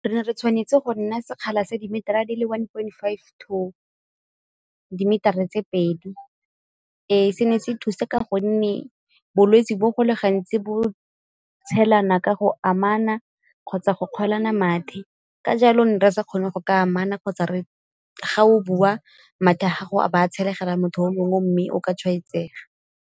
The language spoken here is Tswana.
Re ne re tshwanetse go nna sekgala sa dimetara di le one point five to dimetara tse pedi. Se ne se thusa ka gonne bolwetsi bo go le gantsi bo tshelana ka go amana kgotsa go kgwelana mathe, ka jalo ne re sa kgone go ka amana kgotsa ga o bua mathe a gago a ba a tshelegela motho o mongwe mme o ka tshwaetsega.